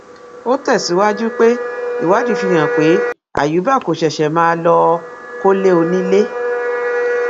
ó tẹsíwájú pé ìwádìí fìhàn pé àyùbá kò ṣẹṣẹ máa lọọ kọlé onílé